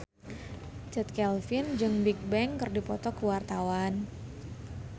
Chand Kelvin jeung Bigbang keur dipoto ku wartawan